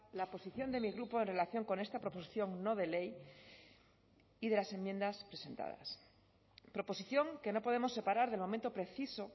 la posición de mi grupo en relación con esta proposición no de ley y de las enmiendas presentadas proposición que no podemos separar del momento preciso